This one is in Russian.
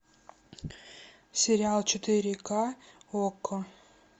сериал четыре ка окко